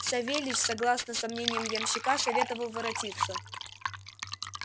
савельич согласно со мнением ямщика советовал воротиться